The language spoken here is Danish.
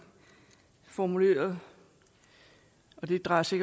har formuleret og det drejer sig